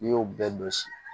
N'i y'o bɛɛ dɔn si